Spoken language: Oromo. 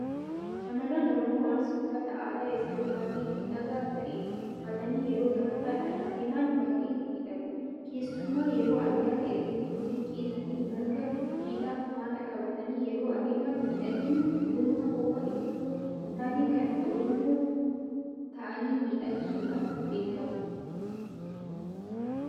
Shaamarran Oromoo Arsii uffata aadaa isaanii baay'ee miidhagaa ta'e uffatanii yeroo gamtaadhaan adeeman baay'ee miidhagu. keessumaa yeroo ayyaana irreechaa siinqee isaanii marga jiidhaa faana qabatanii yeroo adeeman miidhagina dhuunfaa qofa itoo hintaane kan Oromaa ta'anii miidhagsuudhaan beekamu.